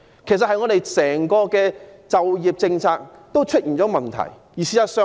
事實上，我們整個就業政策也出現問題。